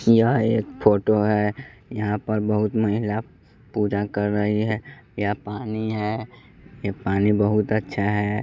यह एक फोटो है यहां पर बहुत महिला पूजा कर रही है यह पानी है ये पानी बहुत अच्छा है।